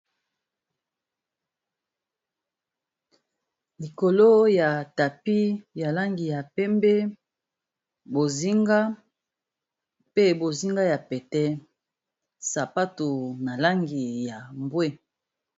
Likolo ya tapis ya langi ya pembe, bozinga pe bozinga ya pete, sapato na langi ya mbwe .